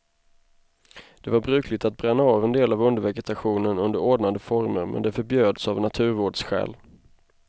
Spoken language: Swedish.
Det var brukligt att bränna av en del av undervegetationen under ordnade former men det förbjöds av naturvårdsskäl.